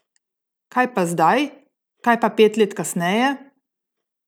Kaj pa zdaj, kaj pa pet let kasneje?